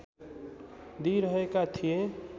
दिइरहेका थिएँ